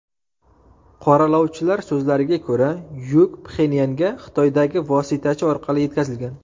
Qoralovchilar so‘zlariga ko‘ra, yuk Pxenyanga Xitoydagi vositachi orqali yetkazilgan.